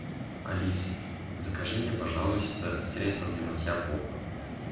алиса закажи мне пожалуйста средство для мытья пола